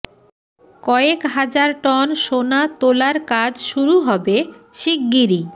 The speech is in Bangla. কয়েক হাজার টন সোনা তোলার কাজ শুরু হবে শিগগিরি